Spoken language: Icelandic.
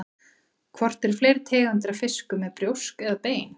Hvort eru fleiri tegundir af fiskum með brjósk eða bein?